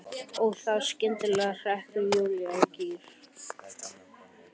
Og þá skyndilega hrekkur Júlía í gír.